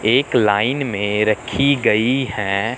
एक लाइन में रखी गई है।